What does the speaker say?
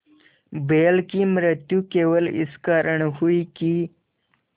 बैल की मृत्यु केवल इस कारण हुई कि